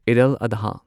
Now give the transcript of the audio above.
ꯑꯩꯗ ꯑꯜ ꯑꯗꯥ